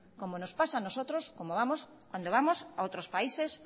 como nos pasa a nosotros cuando vamos a otros países